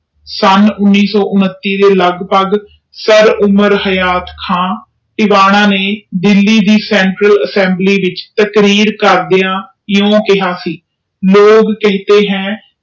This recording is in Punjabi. ਸਨ ਉਨਿ ਸੌ ਉਨਤੀ ਦੇ ਲੱਗਭਗ ਦਿੱਲੀ ਦੀ central assembly ਵਿਚ ਕਰਦੇ ਇਹੋ ਕਿਹਾ ਸੀ ਲੋਗ ਕਹਿਤੇ ਹੈਂ